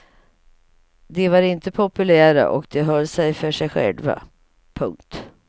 De var inte populära och de höll sig för sig själva. punkt